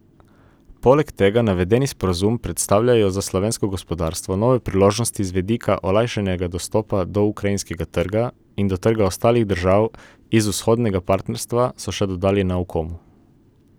Poleg tega navedeni sporazumi predstavljajo za slovensko gospodarstvo nove priložnosti z vidika olajšanega dostopa do ukrajinskega trga in do trga ostalih držav iz Vzhodnega partnerstva, so še dodali na Ukomu.